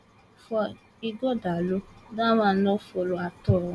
for ighodalo dat one no follow at all